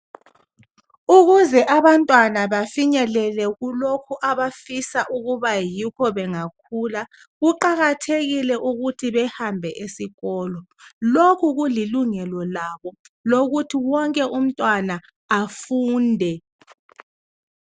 Ukuze abantwana bafinyelele kulokhu abafisa ukuba yikho bengakhula kuqakathekile ukuthi behambe esikolo lokhu kulilungelo labo lokuthi wonke umntwana afunde.